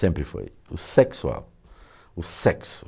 Sempre foi o sexual, o sexo.